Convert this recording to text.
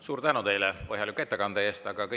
Suur tänu teile põhjaliku ettekande eest!